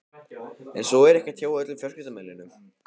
En svo var ekki hjá öllum fjölskyldumeðlimum.